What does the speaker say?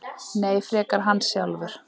Nei, frekar hann sjálfur.